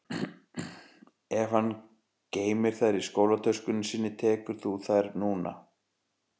Ef hann geymir þær í skólatöskunni sinni tekur þú þær núna